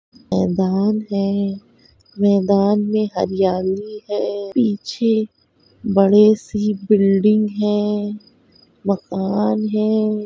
मैदान है। मैदान में हरियाली है। पीछे बड़े सी बिल्डिंग है। मकान है।